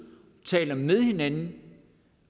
tale med hinanden